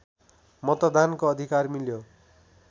मतदानको अधिकार मिल्यो